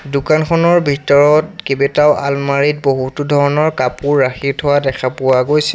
দোকানখনৰ ভিতৰত কেবেটাও আলমাৰি ত বহুতো ধৰণৰ কাপোৰ ৰাখি থোৱা দেখা পোৱা গৈছে।